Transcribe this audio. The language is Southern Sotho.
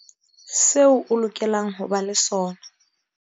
Seo o lokelang ho ba le sona